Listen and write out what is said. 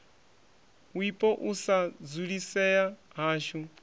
wipo u sa dzulisea hashu